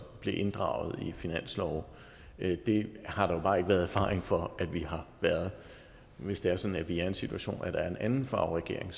blev inddraget i finanslove det har der jo bare ikke været erfaring for at vi har været hvis det er sådan at vi er i en situation hvor der er en anden farve regering